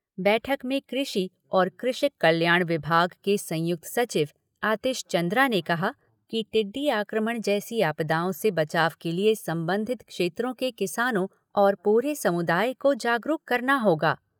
बैठक में कृषि और कृषक कल्याण विभाग के संयुक्त सचिव आतिश चन्द्रा ने कहा कि टिड्डी आक्रमण जैसी आपदाओं से बचाव के लिए संबंधित क्षेत्रों के किसानों और पूरे समुदाय को जागरूक करना होगा।